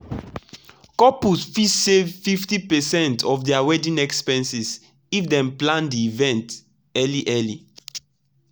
couples fit save up to 50 percent of their wedding expenses if dem plan the event early early.